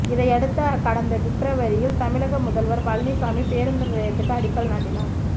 இதனையடுத்து கடந்த பிப்ரவரியில் தமிழக முதல்வர் பழனிசாமி பேருந்து நிலையத்துக்கு அடிக்கல் நாட்டினார்